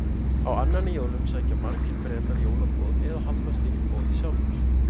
Á annan í jólum sækja margir Bretar jólaboð eða halda slíkt boð sjálfir.